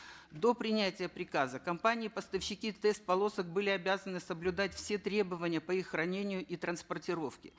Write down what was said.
до принятия приказа компании поставщики тест полосок были обязаны соблюдать все требования по их хранению и транспортировке